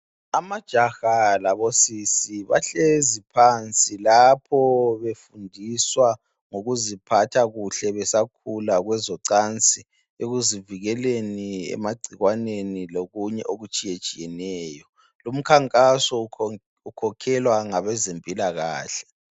Amajaha lamantombazana bahlezi phansi lapho befundiswa ngokuziphatha kuhle besakhula kwezocansi ekuzivikeleni emagcikwaneni lokunye okutshiyetshiyeneyo. Lumkhankaso ukhokhelwa ngabezempilakahle